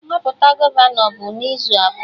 Nhọpụta gọvanọ bụ n'izu abụọ